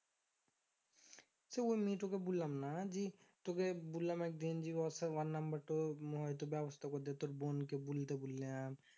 সেই ওই মেয়েটা তোকে বললাম না জি তোকে বললাম একদিন যে ওর সাথে ওর number টো হয়তো ব্যবস্থা করে দে। তোর বোনকে বলতে বললাম